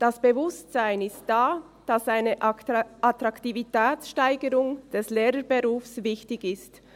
Das Bewusstsein ist da, dass eine Attraktivitätssteigerung des Lehrerberufs wichtig ist.